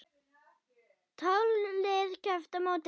Tólf lið kepptu á mótinu.